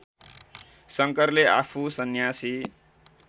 शङ्करले आफू सन्यासी